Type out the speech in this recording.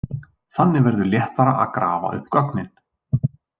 Þannig verður léttara að grafa upp gögnin.